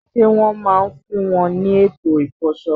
Ṣé wọ́n máa ń fún wọn ní ètò ìfọṣọ?